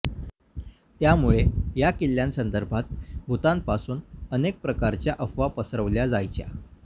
त्यामुळे या किल्ल्यासंदर्भात भूतांपासून अनेक प्रकारच्या अफवा पसरवल्या जायच्या